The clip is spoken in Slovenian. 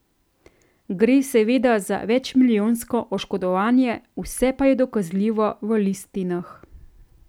Gre seveda za večmilijonsko oškodovanje, vse pa je dokazljivo v listinah.